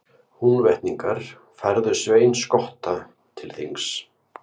Húnvetningar færðu Svein skotta til þings.